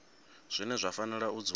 zwine zwa fanela u dzula